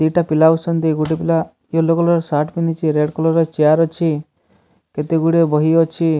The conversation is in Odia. ଦିଟା ପିଲା ବସିଛନ୍ତି ଗୋଟେ ପିଲା ୟେଲୋ କଲର ସାର୍ଟ ପିନ୍ଧିଚି ରେଡ କଲର ଚେୟାର ଅଛି କେତେଗୁଡିଏ ବହି ଅଛି।